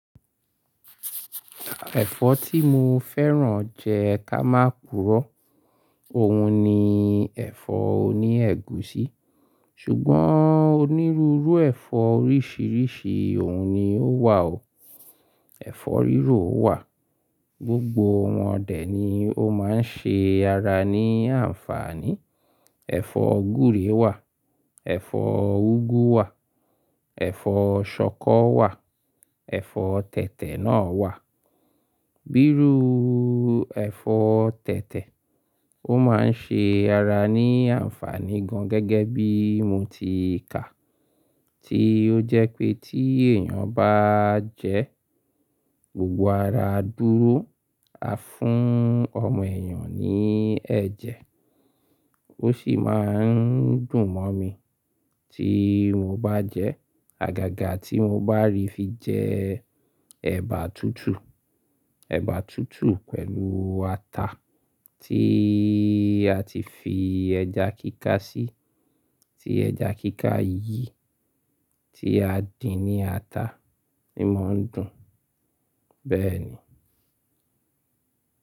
Ẹ̀fọ́ tí mo fẹ́ràn jẹ ká máa purọ́, òun ni ẹ̀fọ́ oní ègúsí. Ṣùgbọ́n onírúurú ẹ̀fọ́ oríṣiríṣi òun ni ó wà o. Ẹ̀fọ́ rírò wà, gbogbo wọn dè ni ó máa ń ṣe ara ní àǹfààní. Ẹ̀fọ́ gúre wà, ẹ̀fọ́ úgú wà, ẹ̀fọ́ ṣọkọ wà, ẹ̀fọ́ tẹ̀tẹ̀ náà wà. Bírúù ẹ̀fọ́ tẹ̀tẹ̀, ó máa ń ṣe ara ní àǹfààní gan gẹ́gẹ́ bí mo ti kà á, tí ó jẹ́ pé tí èèyàn bá jẹ ẹ́, gbogbo ara á dúró, á fún ọmọ èèyàn ní ẹ̀jẹ̀. Ó sì máa ń dùn mọ́ mi tí mo bá jẹ ẹ́. Àgàgà tí mo bá rí fi jẹ ẹba tútù, ẹba tútù pẹ̀lú ata tí a ti fi ẹja kíká sí, tí ẹja kíká yí tí a dín ní ata, ni mo ń dùn. Bẹ́ẹ̀ ni.